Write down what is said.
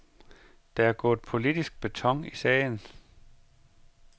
Der er gået politisk beton i sagen.